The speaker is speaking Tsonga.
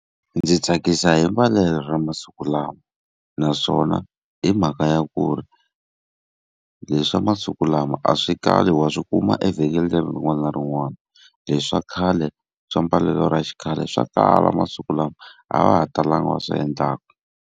Ndzi tsakisa hi mbalelo ra masiku lawa, naswona hi mhaka ya kuri, leswi swa masiku lama a swi kali wa swi kuma evhengeleni rin'wana na rin'wana. Leswi swa khale swa mbalelo ra xikhale swa kala masiku lama, a va ha talanga va swi endlaka.